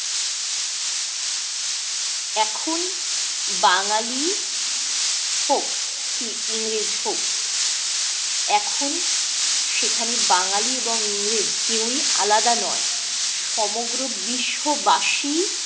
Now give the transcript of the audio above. এখন বাঙালি হোক কি ইংরেজ হোক এখন সেখানে বাঙালি এবং ইংরেজ কেউ ই আলাদা নয়, সমগ্র বিশ্ববাসী